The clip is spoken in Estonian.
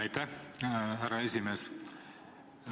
Aitäh, härra esimees!